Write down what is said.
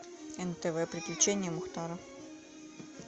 нтв приключения мухтара